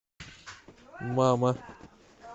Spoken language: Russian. мама